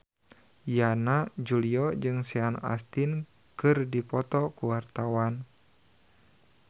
Yana Julio jeung Sean Astin keur dipoto ku wartawan